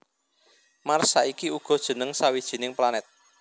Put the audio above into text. Mars saiki uga jeneng sawijining planet